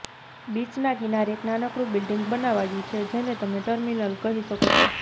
બીચના કિનારે એક નાનકડું બિલ્ડિંગ બનાવાયું છે જેને તમે ટર્મિનલ કહી શકો છો